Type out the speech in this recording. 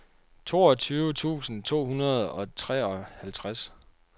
toogtyve tusind to hundrede og treoghalvtreds